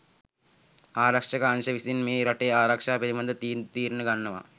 ආරක්ෂක අංශ විසින් මේ රටේ ආරක්ෂාව පිළිබඳ තීන්දු තීරණ ගන්නවා.